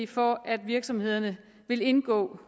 for at virksomhederne vil indgå